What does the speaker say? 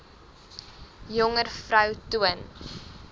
jonger vroue toon